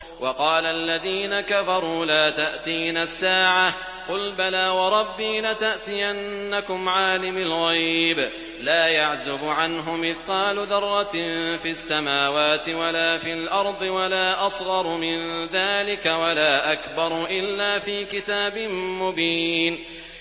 وَقَالَ الَّذِينَ كَفَرُوا لَا تَأْتِينَا السَّاعَةُ ۖ قُلْ بَلَىٰ وَرَبِّي لَتَأْتِيَنَّكُمْ عَالِمِ الْغَيْبِ ۖ لَا يَعْزُبُ عَنْهُ مِثْقَالُ ذَرَّةٍ فِي السَّمَاوَاتِ وَلَا فِي الْأَرْضِ وَلَا أَصْغَرُ مِن ذَٰلِكَ وَلَا أَكْبَرُ إِلَّا فِي كِتَابٍ مُّبِينٍ